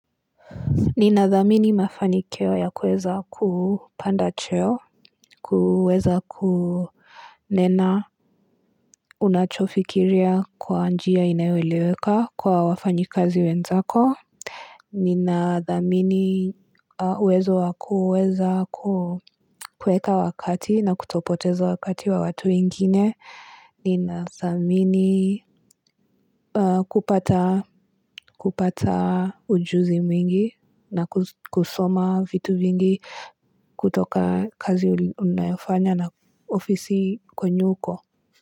Ninadhamini mafanikio ya kuweza kupanda cheo, kuweza kunena unachofikiria kwa njia inayoeleweka kwa wafanyikazi wenzako. Ninadhamini uwezo wa kuweza kuweka wakati na kutopoteza wakati wa watu wengine. Ninadhamini kupata kupata ujuzi mwingi na kusoma vitu vingi kutoka kazi unayofanya na ofisi kwenye uko.